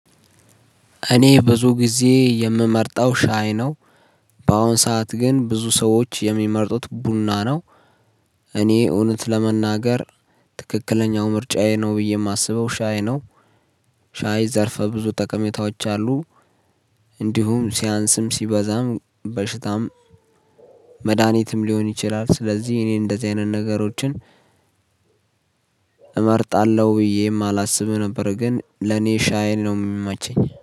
እኔ ብዙ ጊዜ የምመርጠው ሻይ ነው። በአሁን ሰዓት ግን ብዙ ሰዎች የሚመርጡት ቡና ነው። እኔ እውነት ለመናገር ትክክለኛው ምርጫዬ ነው ብዬ የማስበው ሻይ ነው። ሻይ ዘርፈ ብዙ ጠቀሜታዎች አሉ። እንዲሁም ሲያንስም ሲበዛም በሽታም መድሃኒትም ሊሆን ይችላል። ስለዚህ እኔ እንደዚህ አይነት ነገሮችን እመርጣለሁ ብዬ የማላስብ ነበር ግን ለኔ ሻይል ነው የማቸኝ